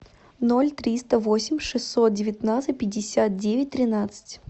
ноль триста восемь шестьсот девятнадцать пятьдесят девять тринадцать